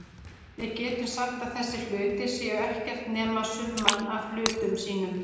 Við getum sagt að þessir hlutir séu ekkert nema summan af hlutum sínum.